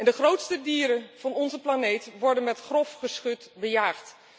De grootste dieren van onze planeet, worden met grof geschut bejaagd.